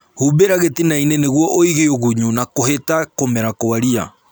Humbĩra gĩtinainĩ nĩguo ũige ũgunyu na kũhita kũmera gwa ria